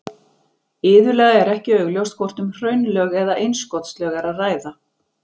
iðulega er ekki augljóst hvort um hraunlög eða innskotslög er að ræða